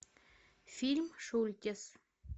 фильм шультес